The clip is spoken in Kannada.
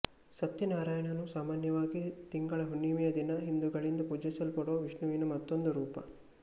ಸತ್ಯನಾರಾಯಣನು ಸಾಮಾನ್ಯವಾಗಿ ತಿಂಗಳ ಹುಣ್ಣಿಮಯ ದಿನ ಹಿಂದೂಗಳಿಂದ ಪೂಜಿಸಲ್ಪಡುವ ವಿಷ್ಣುವಿನ ಮತ್ತೊಂದು ರೂಪ